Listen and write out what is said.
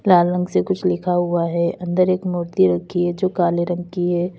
लाल रंग से कुछ लिखा हुआ है अंदर एक मूर्ति रखी है जो काले रंग की है।